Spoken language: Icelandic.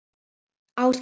Ásgeir Sævar.